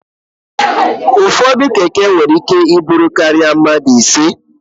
Ụfọdụ Keke nwere ike ibu ihe karịrị mmadụ ise.